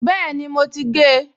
Bẹ́ẹ̀ni, mo ti gé e